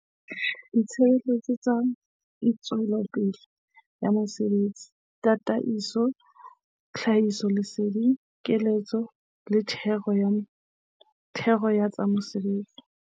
Ditshebeletso tsa ntshetsopele ya mosebetsi, tataiso, tlhahisoleseding, keletso le thero ya tsa mesebetsi.